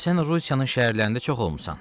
Sən Rusiyanın şəhərlərində çox olmusan.